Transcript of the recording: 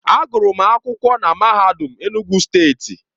Agụrụ m akwụkwọ na MAHADUM ENUGWU STEETI.